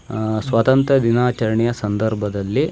ಅಹ್ ಅಹ್ ಅಹ್ ಸ್ವತಂತ್ರ ದಿನಾಚರಣೆಯ ಸಂದರ್ಭದಲ್ಲಿ --